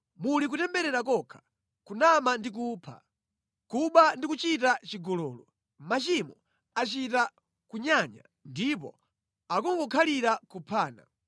Muli kutemberera kokha, kunama ndi kupha. Kuba ndi kuchita chigololo; machimo achita kunyanya ndipo akungokhalira kuphana.